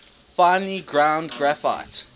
finely ground graphite